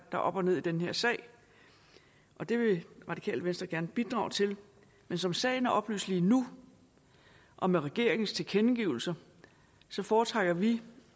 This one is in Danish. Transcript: er op og ned i den her sag og det vil radikale venstre gerne bidrage til men som sagen er oplyst lige nu og med regeringens tilkendegivelser foretrækker vi